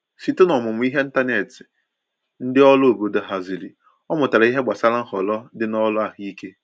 Site n’omumụ ihe n’ịntanetị ndị ọrụ obodo haziri, ọ mutara ìhè gbasàra nhọrọ dị na ọrụ ahụike.